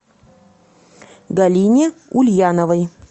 галине ульяновой